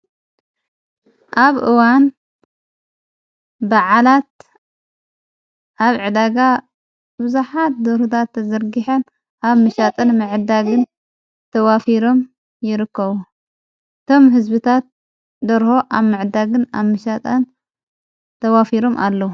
ኣብ እዋን ብዓላት ኣብ ዕዳጋ ብዙኃት ደሩሁት ተዘርጊሐን ኣብ ምሻጠን ምዕዳግን ተዋፊሮም ይርኮዉ ቶም ሕዝቢታት ደርሆ ኣብ ምዕዳግን ኣብ ምሻጠን ተዋፊሮም ኣለዉ።